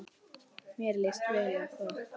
Mér líst vel á það.